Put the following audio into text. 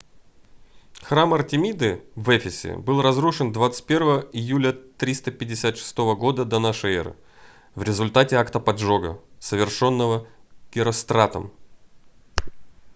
храм артемиды в эфесе был разрушен 21 июля 356 года до н э в результате акта поджога совершённого геростратом